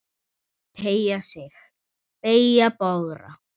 Teygja sig, beygja, bogra.